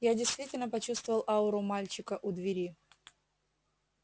я действительно почувствовал ауру мальчика у двери